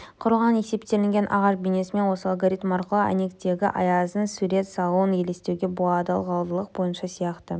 құрылған есептелінген ағаш бейнесін осы алгоритм арқылы әйнектегі аяздың сурет салуын елестетуге болады ылғалдылық бойынша сияқты